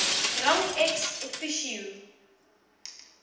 rang ex officio